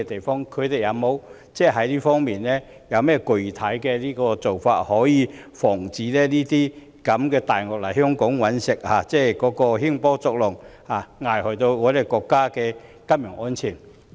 當局在這方面有甚麼具體措施防止"大鱷"來港"搵食"，興波作浪，危害國家的金融安全？